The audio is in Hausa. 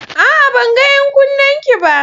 A'a! Ban ga 'yan kunnenki ba.